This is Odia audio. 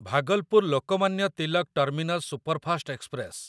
Bhagalpur Lokmanya Tilak terminus superfast express